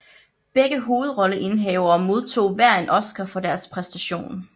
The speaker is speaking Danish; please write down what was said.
Begge hovedrolleindehavere modtog hver en Oscar for deres præstation